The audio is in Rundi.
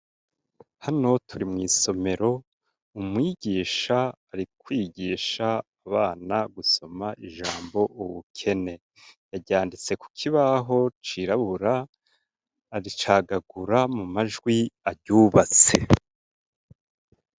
Hano turi mw'isomero umwigisha arikwigisha abana gusoma ijambo uwukene yaryanditse ku koibaho cirabura aricagagura mu majwi aryubatse.